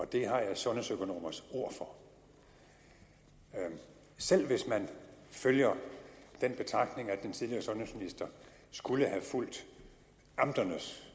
det har jeg sundhedsøkonomers ord for selv hvis man følger den betragtning at den tidligere sundhedsminister skulle have fulgt amternes